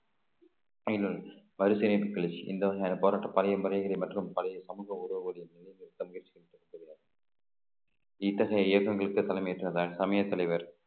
கருத்து இணைப்புகளின் எந்த வகையான போராட்ட மற்றும் பழைய சமூக இத்தகைய இயக்கங்களுக்கு தலைமைய தலைவர்